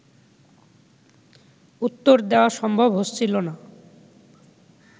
উত্তর দেয়া সম্ভব হচ্ছিল না